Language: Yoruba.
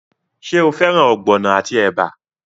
Ṣé o fẹ́ràn ogbono àti ẹ̀bà?